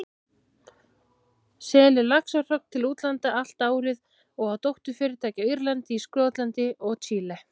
selur laxahrogn til útlanda allt árið og á dótturfyrirtæki á Írlandi, í Skotlandi og Chile.